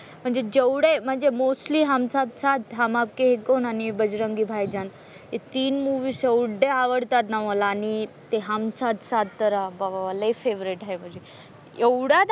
म्हणजे जेवढे म्हणजे मोस्टली हम साथ साथ, हम आपके हैं कौन आणि बजरंगी भाईजान हे तीन मुव्हीज एवढे आवडतात ना मला आणि ते हम साथ साथ तर बाबा लय फेव्हरेट आहे म्हणजे एवढा,